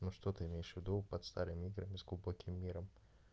ну что ты имеешь в виду под старыми играми с глубоким миром